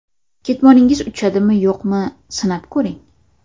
Ketmoningiz uchadimi, yo‘qmi, sinab ko‘ring.